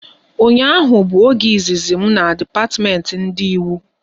Ụnyaahụ bụ oge izizi m na depatiment ndị Ịwu